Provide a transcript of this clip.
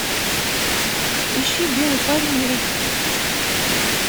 ищи белый парень рик